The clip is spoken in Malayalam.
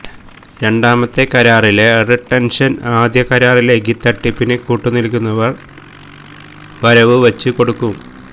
രണ്ടാമത്തെ കരാറിലെ റിട്ടെൻഷൻ ആദ്യ കരാറിലേക്ക് തട്ടിപ്പിന് കൂട്ടു നിൽക്കുന്നവർ വരവുവച്ച് കൊടുക്കും